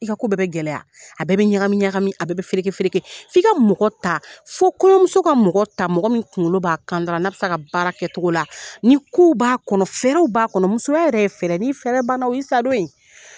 I ka ko bɛɛ bɛ gɛlɛya a bɛɛ ɲagami ɲagami a bɛɛ fereke fereke f'i ka mɔgɔ ta fo kɔnɔmuso ka mɔgɔ ta mɔgɔ min kunkolo b'a kan da la n'a bɛ se a ka baara kɛcogo la ni kow b'a kɔnɔ fɛɛrɛw b'a kɔnɔ musoya yɛrɛ ye fɛɛrɛ ni fɛɛrɛ ban na o ye sa don ye.